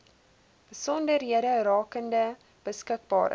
besonderhede rakende beskikbare